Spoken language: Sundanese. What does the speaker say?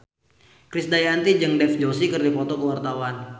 Krisdayanti jeung Dev Joshi keur dipoto ku wartawan